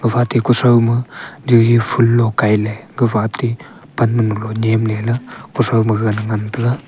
gapha te kuthrou ma juji phoolo kailey gapha ate pan nyem leley kuthrou maga ngan taiga.